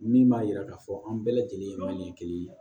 Min b'a yira k'a fɔ an bɛɛ lajɛlen ye manɲɛ kelen ye